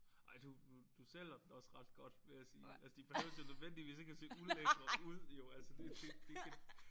Ej du du sælger den også ret godt vil jeg sige altså de behøves jo nødvendigvis ikke at se ulækre ud jo altså det det det ikke